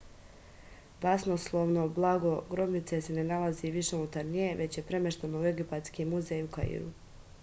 basnoslovno blago grobnice se ne nalazi više unutar nje već je premešteno u egipatski muzej u kairu